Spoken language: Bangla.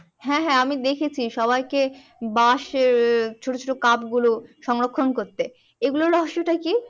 হ্যাঁ হ্যাঁ আমি দেখেছি সবাইকে বাঁশের ছোট ছোট কাপগুলো সংরক্ষণ করতে এগুলো রহস্যটা কি